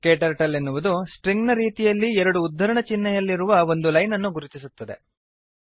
KTurtle ಎನ್ನುವುದು string ನ ರೀತಿಯಲ್ಲಿ ಎರಡು ಉದ್ಧರಣ ಚಿಹ್ನೆಯಲ್ಲಿರುವ ಒಂದು ಲೈನ್ ಅನ್ನು ಗುರುತಿಸುತ್ತದೆ